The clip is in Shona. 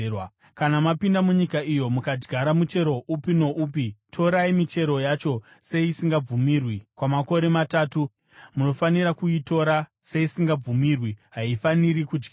“ ‘Kana mapinda munyika iyo mukadyara muchero upi noupi, torai michero yacho seisingabvumirwi. Kwamakore matatu munofanira kuitora seisingabvumirwi. Haifaniri kudyiwa.